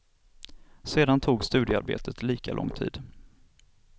Sedan tog studioarbetet lika lång tid.